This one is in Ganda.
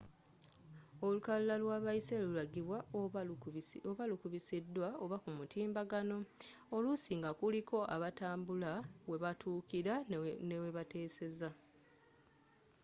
olukalala lw'abayise lulagibwa oba nga lukubisidwa oba kumutimbagano oluusi nga kuliko abatambula webatuukira n'ewebateseza